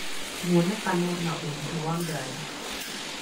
Muonekano na Ũritũ wa Ngarĩ